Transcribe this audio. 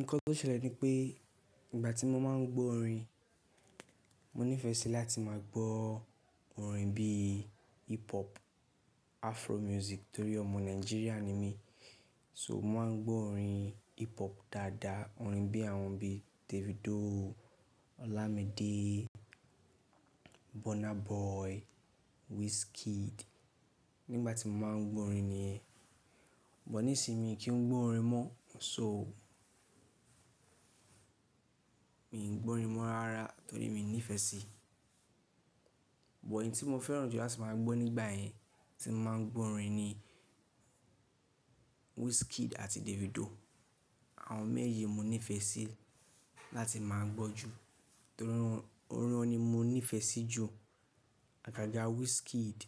Nǹkan tó ṣẹlẹ̀ ni pé ìgbà tí mo máa ń gbọ́ orin, mo nífẹẹ sí láti máa gbọ́ orin bíi hip hop Afro music torí ọmọ Nàìjíríà ni mí. So mo máa ń gbọ́ orin hip hop dáadáa, orin bí àwọn bi Davido, Olamide, Burna Boy, Wizkid nígbà tí mo máa ń gbọ́ orin ni. But ní ìsinmi kí n gbọ́ orin mọ́, n so o. Mi n gbọ́ orin mọ́ rara torí mi nífẹ̀ẹ́ síi. Bọ̀ orin tí mo fẹ́ràn jùlọ láti máa gbọ́ nígbà yẹn tí mo máa ń gbọ́ orin ni Wizkid àti Davido. Àwọn méjeji mo nífẹẹ sí láti máa gbọ́ jù torí orin wọn ni mo nífẹẹ sí jù. Àgàgà Wizkid,